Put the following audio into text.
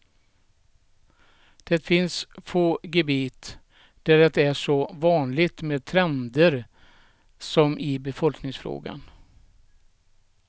Det finns få gebit där det är så vanligt med trender som i befolkningsfrågan.